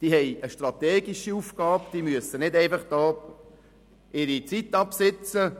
Die Kaderangestellten haben eine strategische Aufgabe und müssen nicht lediglich ihre Zeit absitzen.